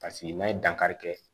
Paseke n'a ye dankari kɛ